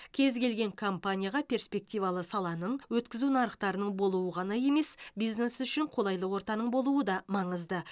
кез келген компанияға преспективалы саланың өткізу нарықтарының болуы ғана емес бизнес үшін қолайлы ортаның болуы да маңызды